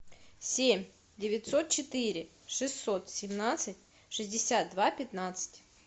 семь девятьсот четыре шестьсот семнадцать шестьдесят два пятнадцать